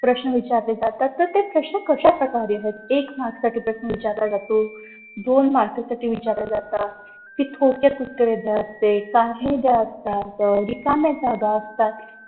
प्रश्न विचारले जातात तर ते प्रश्न कश्या प्रकारे येतात एक mark साठी प्रश्न विचारला जातो दोन mark साठी विचारले जातात ते थोडक्यात उत्तरे असते करणे जे असतात रिकाम्या जागा असतात